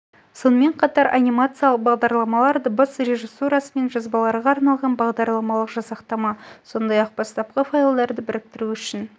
сонымен қатар анимациялық бағдарламалар дыбыс режиссурасы мен жазбаларға арналған бағдарламалық жасақтама сондай-ақ бастапқы файлдарын біріктіру үшін